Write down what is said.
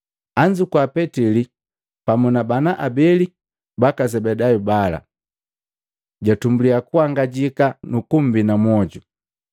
Anzukua Petili pamu na bana abeli baka Zebedayu bala, jatumbuliya kuhangajika nukumbina mwoju.